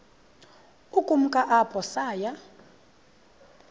ukumka apho saya